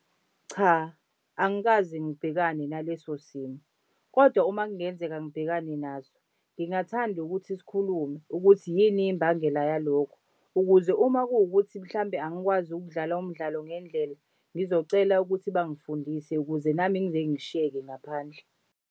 Cha angikaze ngibhekane naleso simo, kodwa uma kungenzeka ngibhekane naso ngingathanda ukuthi sikhulume ukuthi yini imbangela yalokho, ukuze uma kuwukuthi mhlawumbe angikwazi ukudlalwa umdlalo ngendlela ngizocela ukuthi bangifundisa ukuze nami ngingeke ngishiyeke ngaphandle.